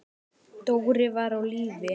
Dóri var á lífi.